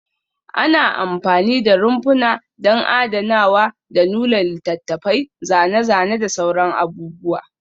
Ana amfani da rumfuna don adanawa da nuna littattafai, zane-zane da sauran abubuwa